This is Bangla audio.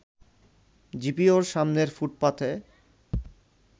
জিপিওর সামনের ফুটপাথে